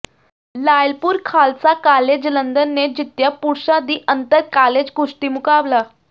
Lyallpur Khalsa college Jalandhar ਨੇ ਜਿੱਤਿਆ ਪੁਰਸ਼ਾਂ ਦੀ ਅੰਤਰ ਕਾਲਜ ਕੁਸ਼ਤੀ ਮੁਕਾਬਲਾ